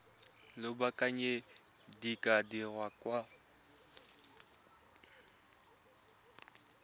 lobakanyana di ka dirwa kwa